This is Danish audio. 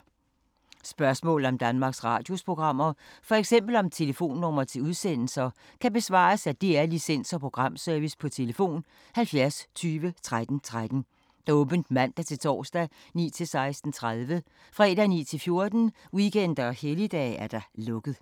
Spørgsmål om Danmarks Radios programmer, f.eks. om telefonnumre til udsendelser, kan besvares af DR Licens- og Programservice: tlf. 70 20 13 13, åbent mandag-torsdag 9.00-16.30, fredag 9.00-14.00, weekender og helligdage: lukket.